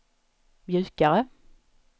mjukare